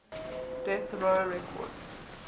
death row records